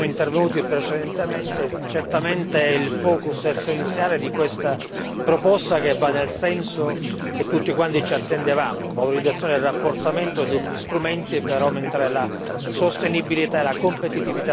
Certamente è il focus essenziale di questa proposta che va nel senso che tutti quanti ci attendevamo valorizzazione e rafforzamento degli strumenti per aumentare la sostenibilità e la competitività delle aziende europee.